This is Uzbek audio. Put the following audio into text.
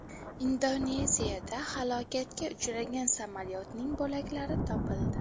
Indoneziyada halokatga uchragan samolyotning bo‘laklari topildi.